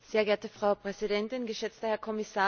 Frau Präsidentin, geschätzter Herr Kommissar!